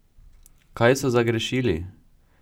Kaj so zagrešili?